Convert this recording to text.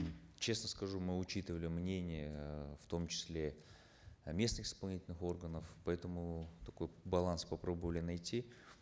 честно скажу мы учитывали мнения э в том числе э местных исполнительных органов поэтому такой баланс попробовали найти